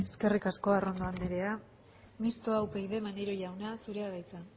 den eskerrik asko arrondo anderea mistoa upyd maneiro jauna zurea da hitza